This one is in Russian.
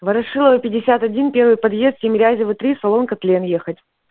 ворошилова пятьдесят один первый подъезд тимирязева три салон катлен ехать